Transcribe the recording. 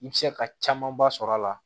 I bɛ se ka camanba sɔrɔ a la